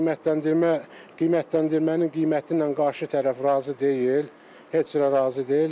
Qiymətləndirmə qiymətləndirmənin qiymətinə qarşı tərəf razı deyil, heç cürə razı deyil.